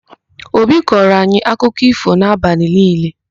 Obi kọọro anyị akụkọ ífò n'abalị niile.